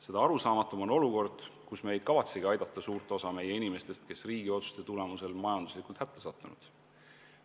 Seda arusaamatum on olukord, kus me ei kavatsegi aidata suurt osa meie inimestest, kes riigi otsuste tulemusel on majanduslikult hätta sattunud.